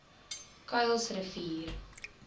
kuilsrivier